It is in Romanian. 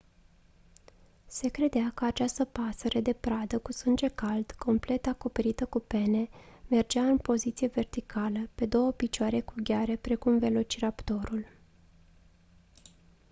se credea că această pasăre de pradă cu sânge cald complet acoperită cu pene mergea în poziție verticală pe două picioare cu gheare precum velociraptorul